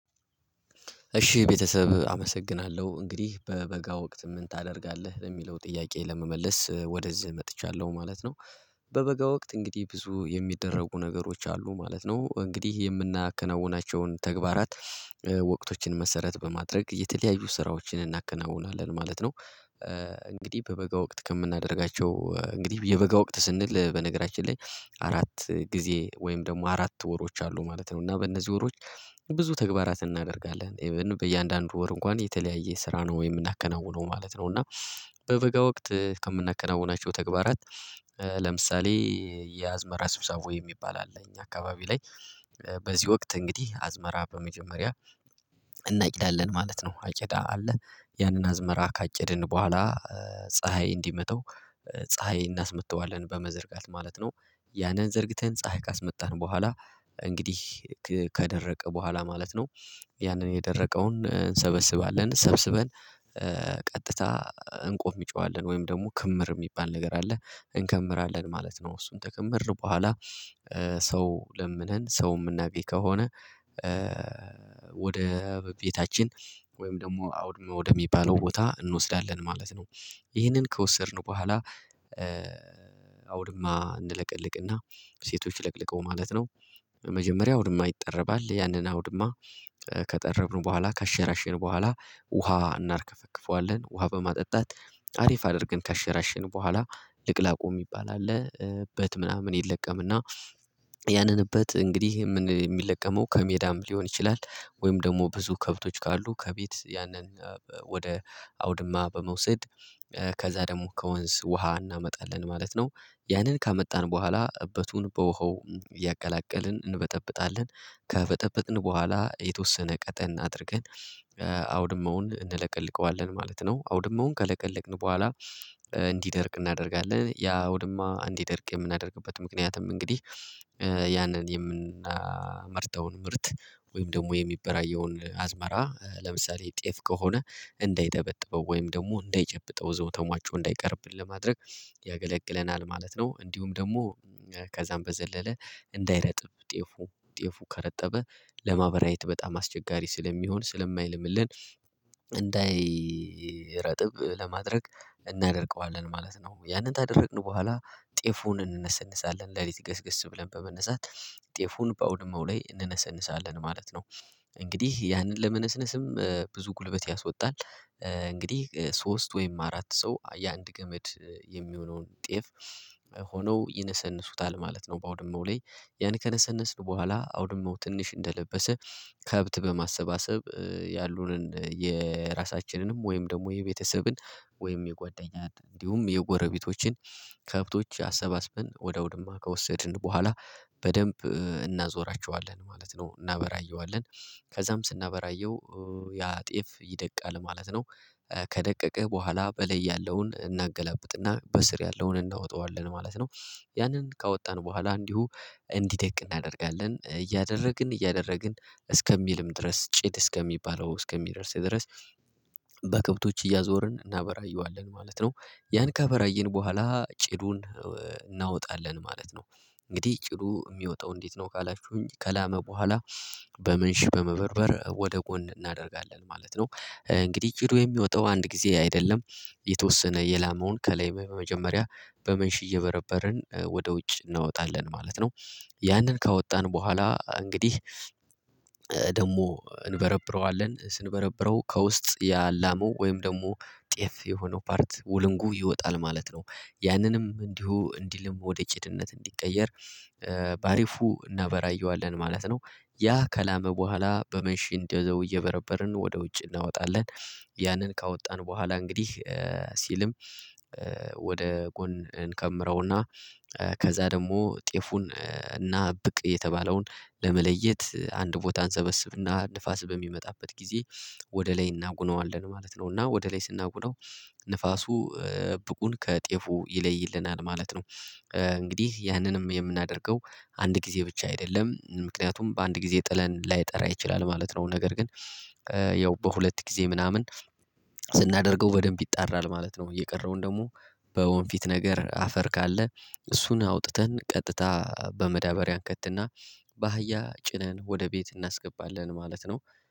እሺ ቤተሰብ አመሰግናለሁ። እንግዲህ "በበጋ ወቅት ምን ታደርጋለህ?" ለሚለው ጥያቄ ለመመለስ ወደዚህ መጥቻለሁ ማለት ነው። በበጋ ወቅት እንግዲህ ብዙ የሚደረጉ ነገሮች አሉ ማለት ነው። እንግዲህ የምናከናውናቸውን ተግባራት ወቅቶችን መሰረት በማድረግ የተለያዩ ስራዎችን እናከናውናለን ማለት ነው። እንግዲህ በበጋ ወቅት ከምናደርጋቸው እንግዲህ የበጋ ወቅት ስንል በነገራችን ላይ አራት ጊዜ ወይም ደግሞ አራት ወሮች አሉ ማለት ነው፤ እና በእነዚህ ወሮች ብዙ ተግባራትን እናደርጋለን። ኢቭን በእያንዳንዱ ወር እንኳን የተለያየ ስራ ነው የምናከናውነው ማለት ነው፤ እና በበጋ ወቅት ከምናከናውናቸው ተግባራት ለምሳሌ የአዝመራ ስብሰቦ የሚባል አለ እኛ አካባቢ ላይ በዚህ ወቅት እንግዲህ አዝመራ በመጀመሪያ እናጭዳለን ማለት ነው። አጭዳ አለ ያንን አዝመራ ካጨድን በኋላ ፀሀይ እንዲመታው ፀሀይ እናስመታዋለን በመዘርጋት ማለት ነው። ያንን ዘርግተን ፀሀይ ካስመታነው በኋላ እንግዲህ ከደረቀ በኋላ ማለት ነው፤ ያንን የደረቀውን እንሰበስባለን። ሰብስበን ቀጥታ እንቆምጨዋለን ወይም ደግሞ ክምር የሚባል ነገር አለ እንከምራለን ማለት ነው። እሱን ተከመርን በኋላ ሰው ለምነን ሰው ምናገኝ ከሆነ ወደ ቤታችን ወይም ደግሞ አውድማ ወደሚባለው ቦታ እንወስዳለን ማለት ነው። ይህንን ከወሰድን በኋላ አውድማ እንለቀልቅና ሴቶች ለቅልቀው ማለት ነው መጀመሪያ አውድማ ይጠረባል። ያንን አውድማ ከጠረብን በኋላ ካሸራሸርን በኋላ ውሃ እናርከፈክፈዋለን። ውሃ በማጠጣት አሪፍ አድርገን ካሸራሸን በኋላ ልቅላቁ የሚባል አለ እበት ምናምን ይለቀምና ያንን እበት እንግዲህ ምን ሚለቀመው ከሜዳም ሊሆን ይችላል፤ ወይም ደግሞ ብዙ ከብቶች ካሉ ከቤት ያንን ወደ አውድማ በመውሰድ ከዛ ደግሞ ከወንዝ ውሃ እናመጣለን ማለት ነው። ያንን ካመጣን በኋላ እበቱን በውሃው እያቀላቀልን እንበጠብጣለን። ከበጠበጥን በኋላ የተወሰነ ቀጠን አድርገን አውድማውን እንለቀልቀዋለን ማለት ነው። አውድማውን ከለቀለቅን በኋላ እንዲደርቅ እናደርጋለን። ያ ቅውድማ እንዲደርቅ የምናደርግበት ምክንያትም እንግዲህ ያንን የምናመርተውን ምርት ወይም ደግሞ የሚበራየውን አዝመራ ለምሳሌ ጤፍ ከሆነ እንዳይጠበጥበው ወይም ደግሞ እንዳይጨብጠው እዛው ተሟጮ እንዳይቀርብን ለማድረግ ያገለግለናል ማለት ነው። እንዲሁም ደግሞ ከዛም በዘለለ እንዳይረጥብ ጤፉ ጤፉ ከረጠበ ለማበራየት በጣም አስቸጋሪ ስለሚሆን ስለማይለምልን እንዳይረጥብ ለማድረግ እናደርቀዋለን ማለት ነው። ያንን ታደርቅን በኋላ ጤፉን እንነሰንሳለን ሌሊት ገስገስ ብለን በመነሳት ጤፉን በአውድማው ላይ እንነሰንሳለን ማለት ነው። እንግዲህ ያንን ለመነስነስም ብዙ ጉልበት ያስወጣል። እንግዲህ ሶስት ወይም አራት ሰው የአንድ ገመድ የሚሆነውን ጤፍ ሆነው ይነሰንሱታል ማለት ነው በአውድመው ላይ ያን ከነሰነስን በኋላ አውድማው ትንሽ እንደለበሰ ከብት በማሰባሰብ ያሉንን የራሳችንንም ወይም ደግሞ የቤተሰብን ወይም የጓደኛን እንዲሁም የጎረቤቶችን ከብቶች አሰባስበን ወደ አውድማ ከወሰድን በኋላ በደንብ እናዞራቸዋለን ማለት ነው እናበራየዋለን። ከዛም ስናበራየው ያ ጤፍ ይደቃል ማለት ነው። ከደቀቀ በኋላ በላይ ያለውን እናገላብጥና በስር ያለውን እናወጣዋለን ማለት ነው። ያንን ካወጣን በኋላ እንዲሁ እንዲደቅ እናደርጋለን። እያደረግን እያደረግን እስከሚልም ድረስ ጭድ እስከሚባለው እስከሚደርስ ድረስ በከብቶች እያዞርን እናበራየዋለን ማለት ነው። ያን ካበራየን በኋላ ጭዱን እናወጣለን ማለት ነው። እንግዲህ ጭዱ የሚወጣው እንዴት ነው ካላችሁኝ ከላመ በኋላ በምንሽ በመበርበር ወደ ጎን እናደርጋለን ማለት ነው። እንግዲህ ጭዱ የሚወጣው አንድ ጊዜ አይደለም የተወሰነ የላመውን ከላይ በመጀመሪያ በመንሽ እየበረበርን ወደ ውጭ እናወጣለን ማለት ነው። ያንን ካወጣን በኋላ እንግዲህ ደግሞ እንበረብረዋለን ስንበረብረው ከውስጥ ያላመው ወይም ደግሞ ጤፍ የሆነው ፓርት ውልንጉ ይወጣል ማለት ነው። ያንንም እንዲሁ እንዲልም ወደ ጭድነት እንዲቀየር በአሪፉ እናበራየዋለን ማለት ነው ያ ከላመ በኋላ በመሽ እንደው እየበረበርን ወደ ውጭ እናወጣለን። ያንን ካወጣን በኋላ እንግዲህ ሲልም ወደ ጎን እንከምረውና ከዛ ደግሞ ጤፉን እና ብቅ የተባለውን ለመለየት አንድ ቦታ አንሰበስብና ንፋስ በሚመጣበት ጊዜ ወደ ላይ እናጉነዋለን ማለት ነው፤ እና ወደ ላይ ስናጉናው ንፋሱ ብቁን ከጤፉ ይለይልናል ማለት ነው። እንግዲህ ያንንም የምናደርገው አንድ ጊዜ ብቻ አይደለም። ምክንያቱም በአንድ ጊዜ ጥለን ላይጠራ ይችላል ማለት ነው፤ ነገር ግን ያው በሁለት ጊዜ ምናምን ስናደርገው በደንብ ይጣራል ማለት ነው። የቀረውን ደግሞ በወንፊት ነገር አፈር ካለ እሱን አውጥተን ቀጥታ በመዳበሪያ እንከትና ባሃያ ጭነን ወደ ቤት እናስገባለን ማለት ነው።